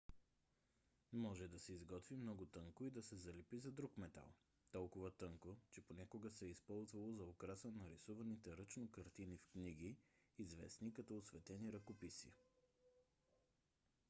може да се изготви много тънко и да се залепи за друг метал. толкова тънко че понякога се е използвало за украса на рисуваните ръчно картини в книги известни като осветени ръкописи